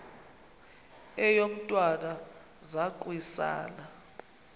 eyo mntwana zaquisana